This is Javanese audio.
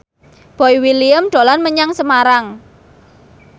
Boy William dolan menyang Semarang